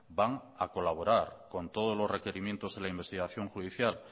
van a colaborar con todos los requerimientos de la investigación judicial